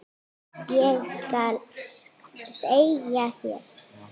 Ég skal segja þér